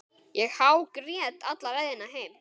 Ég hágrét alla leiðina heim.